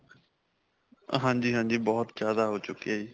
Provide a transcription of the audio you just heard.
ਹਾਂਜੀ, ਹਾਂਜੀ, ਬਹੁਤ ਜਿਆਦਾ ਹੋ ਚੁੱਕਿਆ ਜੀ.